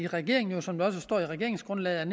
regeringen som der også står i regeringsgrundlaget